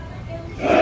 Çəy.